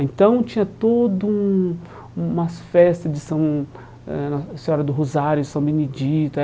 Então, tinha todo um um umas festas de São era Senhora do Rosário e São Benedito. Eh